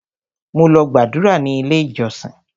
Mo lọ gbàdúrà ní ilé ìjọsìn.